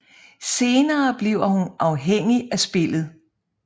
Senere bliver hun afhængig af spillet